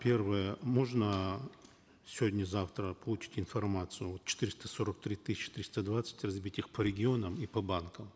первое можно сегодня завтра получить информацию вот четыреста сорок три тысячи триста двадцать разбить их по регионам и по банкам